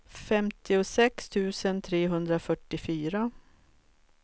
femtiosex tusen trehundrafyrtiofyra